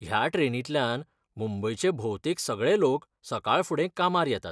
ह्या ट्रेनींतल्यान मुंबयचे भोवतेक सगळे लोक सकाळफुडें कामार येतात.